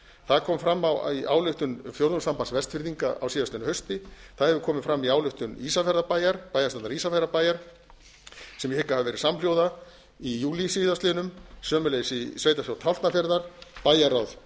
það kom fram í ályktun fjórðungssambands vestfirðinga á síðastliðnu hausti það hefur komið fram í ályktun bæjarstjórnar ísafjarðarbæjar sem ég hygg að hafi verið samhljóða í júlí síðastliðinn sömuleiðis í sveitarstjórn tálknafjarðar bæjarráð